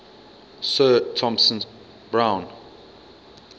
sir thomas browne